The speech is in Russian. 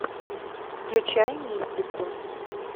включай мистику